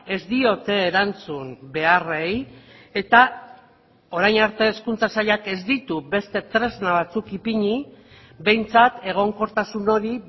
ez diote erantzun beharrei eta orain arte hezkuntza sailak ez ditu beste tresna batzuk ipini behintzat egonkortasun hori